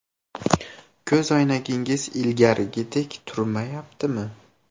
Ko‘zoynagingiz ilgarigidek turmayaptimi?